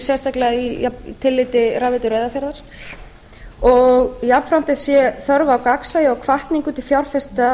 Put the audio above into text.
sérstaklega í tilliti rafveitu reyðarfjarðar jafnframt sé þörf á gagnsæi og hvatningu til fjárfesta